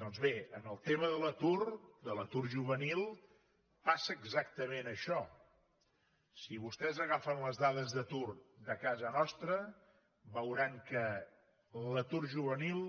doncs bé en el tema de l’atur de l’atur juvenil passa exactament això si vostès agafen les dades d’atur de casa nostra veuran que l’atur juvenil